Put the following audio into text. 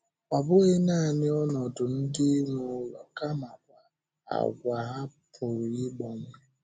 Ọ bụghị nanị ọnọdụ ndị nwe ụlọ kamakwa àgwà ha pụrụ ịgbanwe.